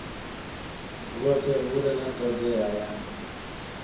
lwothe hu na todea ya